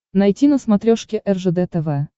найти на смотрешке ржд тв